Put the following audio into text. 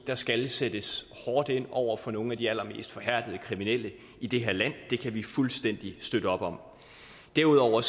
der skal sættes hårdt ind over for nogle af de allermest forhærdede kriminelle i det her land det kan vi fuldstændig støtte op om derudover